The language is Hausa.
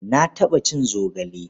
Na taɓa cin zogale.